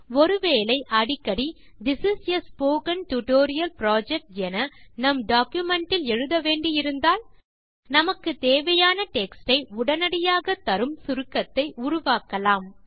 ஒரு வேளை அடிக்கடி this is a spoken tutorial project என நம் டாக்குமென்ட் இல் எழுத வேண்டி இருந்தால் நமக்கு தேவையான டெக்ஸ்ட் யை உடனடியாக தரும் சுருக்கத்தை உருவாக்கலாம்